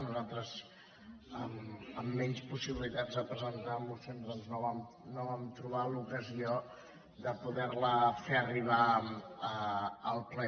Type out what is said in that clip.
nosaltres amb menys pos·sibilitats de presentar mocions doncs no vam trobar l’ocasió de poder·la fer arribar al ple